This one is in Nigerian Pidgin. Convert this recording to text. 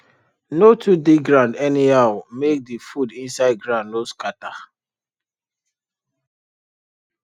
no too dig ground anyhow make the food inside ground no scatter